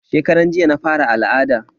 Shekaran jiya na fara al'ada.